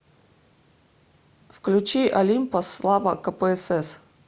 включи олимпос слава кпсс